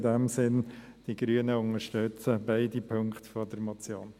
In diesem Sinn: Die Grünen unterstützen beide Punkte der Motion.